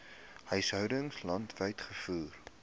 huishoudings landwyd gevoer